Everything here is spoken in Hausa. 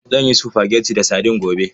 Zan yi spaghetti da sadin gobe.